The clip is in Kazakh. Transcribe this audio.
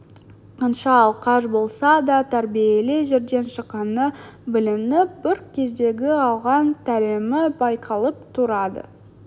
қанша алқаш болса да тәрбиелі жерден шыққаны білініп бір кездегі алған тәлімі байқалып тұрады